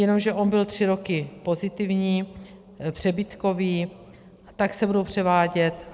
Jenomže on byl tři roky pozitivní, přebytkový, tak se budou převádět.